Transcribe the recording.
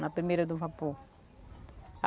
Na primeira do vapor.